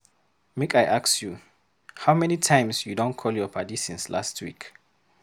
Make I ask you, how many times you don call your paddy since last week.